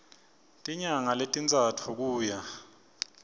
tinyanga letintsatfu kuya